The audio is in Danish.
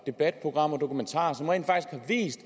debatprogrammer og dokumentarer som rent faktisk